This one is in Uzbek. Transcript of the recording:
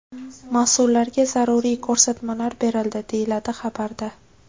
Mas’ullarga zaruriy ko‘rsatmalar berildi, deyiladi xabarda.